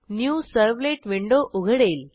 new servlet window उघडेल